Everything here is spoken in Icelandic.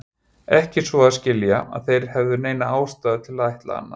Ekki svo að skilja, að þeir hefðu neina ástæðu til að ætla annað.